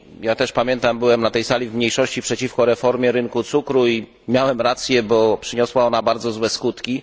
Ja też, pamiętam, byłem na tej sali w mniejszości przeciwko reformie rynku cukru i miałem rację, bo przyniosła ona bardzo złe skutki.